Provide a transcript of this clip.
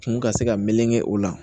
Kun ka se ka meleke o la